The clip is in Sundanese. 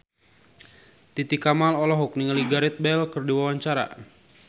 Titi Kamal olohok ningali Gareth Bale keur diwawancara